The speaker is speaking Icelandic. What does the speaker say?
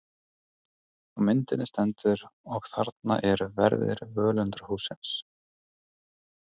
Á myndinni stendur: Og þarna eru verðir völundarhússins.